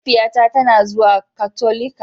mahaifiyata tana zuwa Katolika.